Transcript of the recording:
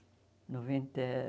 Noventa